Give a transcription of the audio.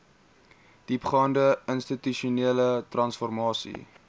diepgaande institusionele transformasie